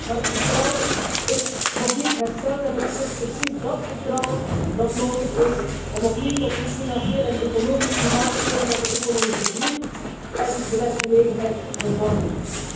Maar het vertrouwen is nog niet hersteld en het is precies dat vertrouwen dat nodig is om opnieuw tot een financieel en economisch klimaat te komen dat de economische groei en de werkgelegenheid bevordert.